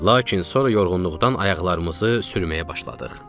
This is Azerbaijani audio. Lakin sonra yorğunluqdan ayaqlarımızı sürməyə başladıq.